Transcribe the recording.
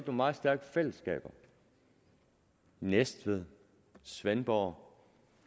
meget stærke fællesskaber i næstved svendborg og